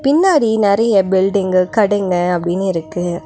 பின்னாடி நெறைய பில்டிங்கு கடைங்க அப்டின்னு இருக்கு.